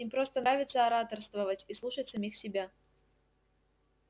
им просто нравится ораторствовать и слушать самих себя